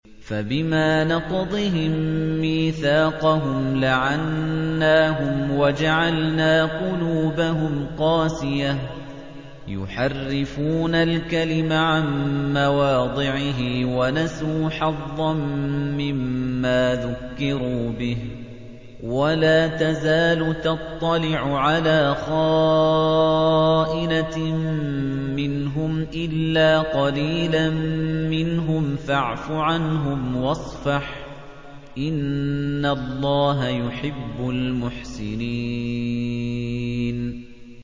فَبِمَا نَقْضِهِم مِّيثَاقَهُمْ لَعَنَّاهُمْ وَجَعَلْنَا قُلُوبَهُمْ قَاسِيَةً ۖ يُحَرِّفُونَ الْكَلِمَ عَن مَّوَاضِعِهِ ۙ وَنَسُوا حَظًّا مِّمَّا ذُكِّرُوا بِهِ ۚ وَلَا تَزَالُ تَطَّلِعُ عَلَىٰ خَائِنَةٍ مِّنْهُمْ إِلَّا قَلِيلًا مِّنْهُمْ ۖ فَاعْفُ عَنْهُمْ وَاصْفَحْ ۚ إِنَّ اللَّهَ يُحِبُّ الْمُحْسِنِينَ